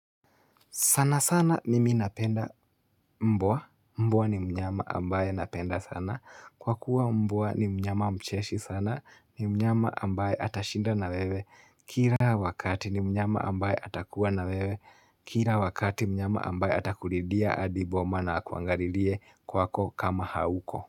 Sana sana mimi napenda mbwa. Mboa ni mnyama ambaye napenda sana. Kwa kuwa mbwa ni mnyama mcheshi sana. Ni mnyama ambaye atashinda na wewe. Kira wakati ni mnyama ambaye atakuwa na wewe. Kira wakati mnyama ambaye atakulindia adiboma na akuangarilie kwako kama hauko.